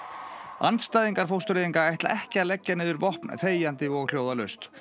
andstæðingar fóstureyðinga ætla ekki að leggja niður vopn þegjandi og hljóðalaust